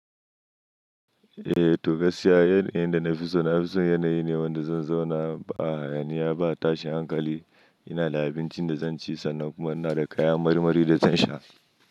Eh to gaskiya, yanayin da na fi so na fi so yanayi ne wanda zan zauna a hayaniya ba tashin hankali. Ina da abinci da zan ci sannan kuma yana da kaya mari mari da zan sha.